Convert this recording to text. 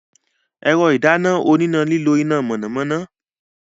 Ẹ̀rọ ìdáná oníná nílò iná mọ̀nàmọ́ná.